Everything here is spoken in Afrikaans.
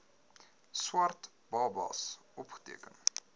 swart babas opgeteken